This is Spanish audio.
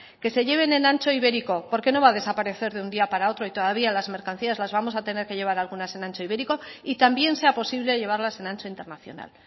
que se lleven en ancho ibérico porque no va a desaparecer de un día para otro y todavía las mercancías las vamos a tener que llevar algunas en ancho ibérico y también sea posible llevarlas en ancho internacional